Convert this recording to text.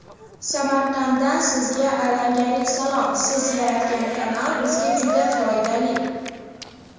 Samarqanddan sizga alangali salom siz yaratgan kanal bizga juda foydali.